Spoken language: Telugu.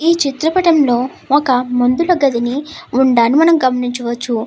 ఈ చిత్ర పటంలో ఒక మందుల గదిని ఉండాన్ని మనం గమనించవచ్చు.